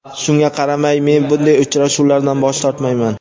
Shunga qaramay, men bunday uchrashuvlardan bosh tortmayman.